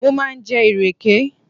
Mo máa ń jẹ ìrèké